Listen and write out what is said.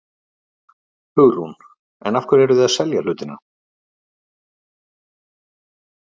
Hugrún: En af hverju eruð þið að selja hlutina?